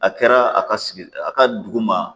A kɛra a ka sigi a ka dugu ma